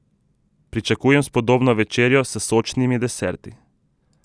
Pričakujem spodobno večerjo s sočnimi deserti.